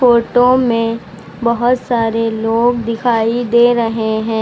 Photo में बहुत सारे लोग दिखाई दे रहे हैं।